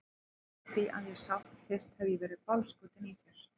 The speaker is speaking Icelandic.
Frá því að ég sá þig fyrst hef ég verið bálskotinn í þér.